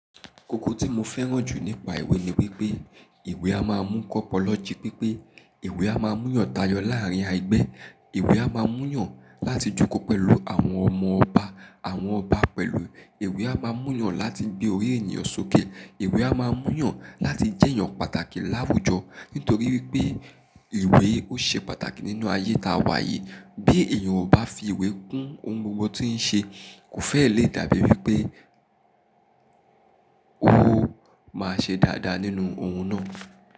Ikoko tí mo fẹ́ràn jù nípa ìwé ni wípé ìwé a máa ń mu kọ pọ lọji pipe, ìwé a máa ń muyan tayọ láàrin ẹgbẹ́, ìwé a máa ń muyan láti jókò pẹ̀lú àwọn ọmọ ọba, àwọn ọba pẹ̀lú ìwé a máa ń muyan láti gbé orí ènìyàn sókè, ìwé a máa ń muyan láti jẹ́ ènìyàn pàtàkì láwùjọ, nítorí wípé ìwé ó ṣe pàtàkì nínú ayé tá wa yìí, bí èyàn ò bá fi ìwé kún ohun gbogbo tí ń ṣe, kò fẹ́ẹ̀ lè dàbí wípé ó máa ṣe dáadáa nínú ohun náà.